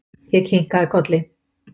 Ég kinkaði kolli.